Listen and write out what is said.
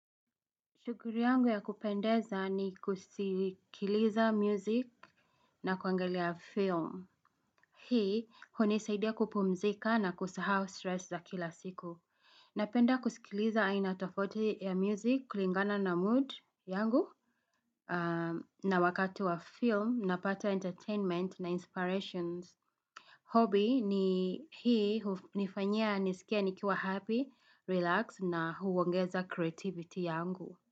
Shughuli yangu ya kupendeza ni kusikiliza music na kuangalia film. Hii, hunisaidia kupumzika na kusahau stress za kila siku. Napenda kusikiliza aina tofauti ya music kulingana na mood yangu na wakati wa film napata entertainment na inspirations. Hobby ni hii, nifanyia, nisikia, nikiwa happy, relax na huongeza creativity yangu.